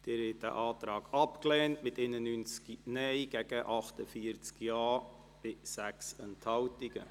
Sie haben diesen Antrag abgelehnt mit 91 Nein- zu 48 Ja-Stimmen bei 6 Enthaltungen.